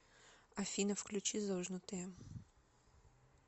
афина включи зожнутые